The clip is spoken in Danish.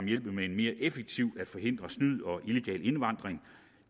hjælpe med mere effektivt at forhindre snyd og illegal indvandring